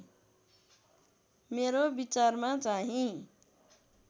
मेरो विचारमा चाहिँ